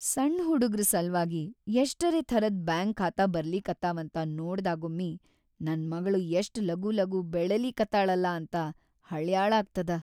ಸಣ್‌ ಹುಡುಗ್ರ ಸಲ್ವಾಗಿ ಯಷ್ಟರೇ ಥರದ್ ಬ್ಯಾಂಕ್‌‌ ಖಾತಾ ಬರ್ಲಿಕತ್ತಾವಂತ ನೋಡ್ದಾಗೊಮ್ಮಿ ನನ್‌ ಮಗ್ಳ್‌ ಯಷ್ಟ್‌ ಲಗೂಲಗೂ ಬೆಳಿಲಿಕತ್ತಾಳಲಾ ಅಂತ ಹಳ್ಯಾಳಾಗ್ತದ.